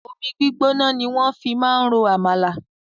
Omi gbígbóná ni wọ́n fi máa ń ro àmàlà.